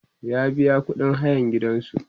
ya biya ƙuɗin hayan gidansu